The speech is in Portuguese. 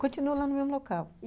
Continuo lá no mesmo local.